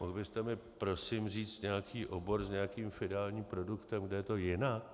Mohl byste mi prosím říct nějaký obor s nějakým finálním produktem, kde je to jinak?